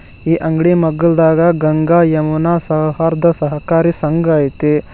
ಈ ಅಂಗಡಿ ಮಗ್ಗಲ್ದಾಗ ಗಂಗಾ ಯಮುನಾ ಸೌಹಾರ್ದ ಸಹಕಾರಿ ಸಂಘ ಐತಿ.